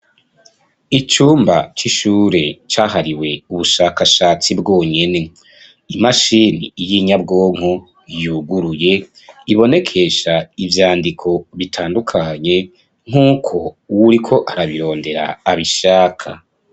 Icumba c'ishure cahariwe ubushakashatsi bwonyene imashini yo inyabwonko yuguruye ibonekesha ivyandiko bitandukanye nk'uko uwuriko arabirondera abishaka.